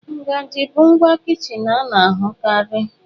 Ngaji bụ ngwa kichin a na-ahụkarị.